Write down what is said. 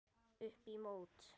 Upp í mót.